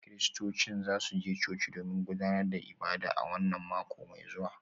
Kiristocin za su je coci domin gudanar da ibada a wannan mako mai zuwa